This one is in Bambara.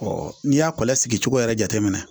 n'i y'a kɔlɔsi cogo yɛrɛ jateminɛ na